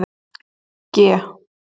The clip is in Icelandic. G